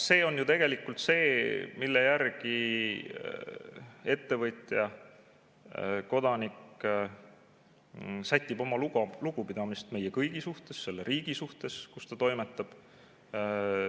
See on ju tegelikult see, mille järgi ettevõtja, kodanik sätib oma lugupidamist meie kõigi suhtes, selle riigi suhtes, kus ta toimetab.